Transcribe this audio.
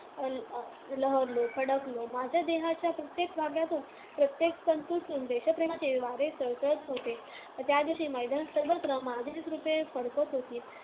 लहरलो, फडकलो माझ्या देहाच्या प्रत्येक धाग्यातून, प्रत्येक तंतूतून देशप्रेमाचे वारे सळसळत होते. त्या दिवशी मैदानावर सर्वत्र माझीच रूपे फडकत होती.